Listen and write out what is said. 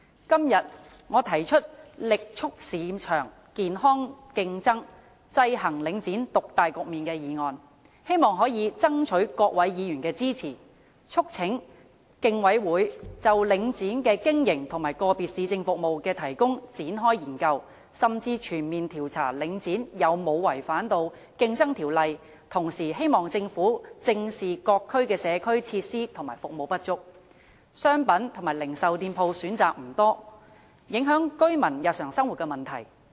今天，我提出"力促市場健康競爭，制衡領展獨大局面"的議案，希望可以爭取各位議員的支持，促請競爭事務委員會就領展的經營和個別市政服務的提供展開研究，甚至全面調查領展有否違反《競爭條例》，同時希望政府正視因各區社區設施和服務不足、商品和零售店鋪選擇不多而影響居民日常生活的問題。